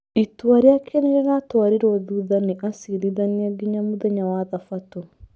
Itua rĩake nĩ rĩratwarĩruo thutha nĩ acirithania nginya mũthenya wa Thabatũ.